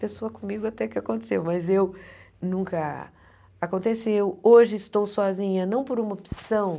Pessoa comigo até que aconteceu, mas eu nunca... Aconteceu, hoje estou sozinha, não por uma opção.